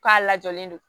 K'a lajɔlen don